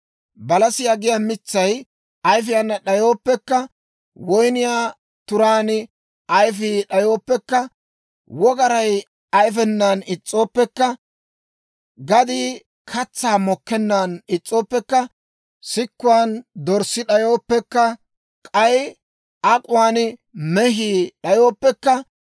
Balasiyaa giyaa mitsay ayifana d'ayooppekka, woyniyaa turaan ayifii d'ayooppekka, wogaray ayifenan is's'ooppekka, gadii katsaa mokkennan is's'ooppekka, sikkuwan dorssi d'ayooppekka, k'ay ak'uwaan mehii d'ayooppekka,